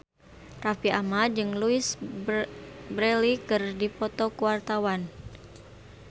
Raffi Ahmad jeung Louise Brealey keur dipoto ku wartawan